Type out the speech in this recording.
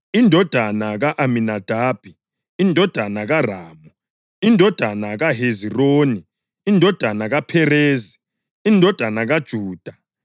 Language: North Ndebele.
indodana ka-Aminadabi, indodana kaRamu, indodana kaHezironi, indodana kaPherezi, indodana kaJuda,